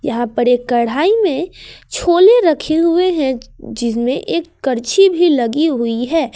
यहां पर एक कढ़ाई में छोले रखे हुए हैं जिसमें एक कर्छी भी लगी हुई है।